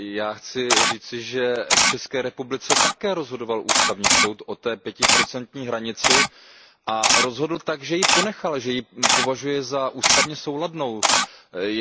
Chci však říci, že v České republice také rozhodoval Ústavní soud o té pětiprocentní hranici a rozhodl tak, že ji ponechal, že ji považuje za odpovídající ústavě.